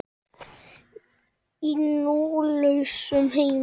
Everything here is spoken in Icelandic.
Í nú lausum heimi.